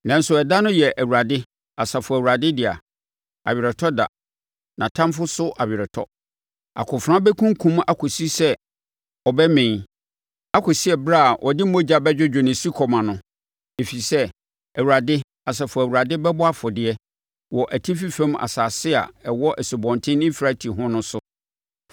Nanso, ɛda no yɛ Awurade, Asafo Awurade dea, aweretɔ da, nʼatamfoɔ so aweretɔ. Akofena bɛkunkum akɔsi sɛ ɔbɛmee, akɔsi ɛberɛ a ɔde mogya bɛdwodwo ne sukɔm ano. Ɛfiri sɛ, Awurade, Asafo Awurade bɛbɔ afɔdeɛ wɔ atifi fam asase a ɛwɔ Asubɔnten Eufrate ho no so.